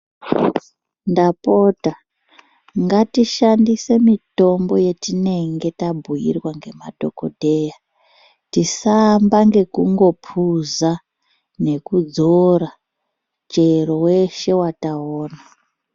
Ndapota ngatishandisw mitombo yatinayo yatinenge tabhuirwa nemadhokodheya tisaamba nekungopuza nekudzora chero weshe wataona.